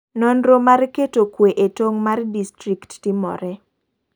Nonro mar keto kwe e tong' mar distrikt timore.